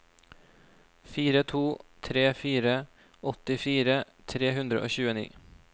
fire to tre fire åttifire tre hundre og tjueni